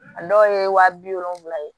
A dɔw ye wa bi wolonwula ye